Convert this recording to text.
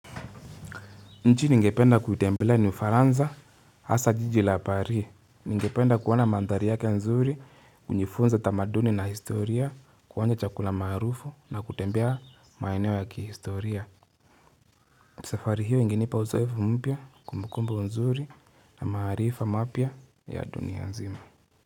Nchi ningependa kuitembelea ni ufaransa hasa jiji la parii. Ningependa kuona mandhari yake nzuri kujifunza tamaduni na historia, kuonja chakula maarufu na kutembea maeneo ya kihistoria. Safari hiyo ingenipa uzoefu mpya kumbukumbu nzuri na maarifa mapya ya dunia nzima.